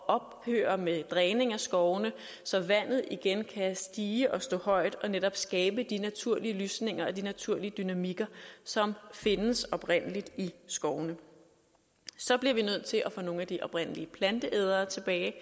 ophøre med dræning af skovene så vandet igen kan stige og stå højt og netop skabe de naturlige lysninger og de naturlige dynamikker som findes oprindelig i skovene så bliver vi nødt til at få nogle af de oprindelige planteædere tilbage